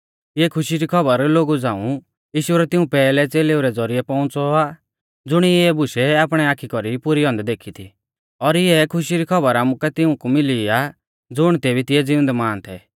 इऐ खुशी री खौबर लोगु झ़ांऊ यीशु रै तिऊं पैहलै च़ेलेऊ रै ज़ौरिऐ पौउंच़ौ आ ज़ुणिऐ इऐ बुशै आपणी आखी कौरीऐ पुरी औन्दै देखी थी और इऐ खुशी री खौबर आमुकै तिऊंकु मिली आ ज़ुण तेबी तिऐ ज़िउंदै मान थै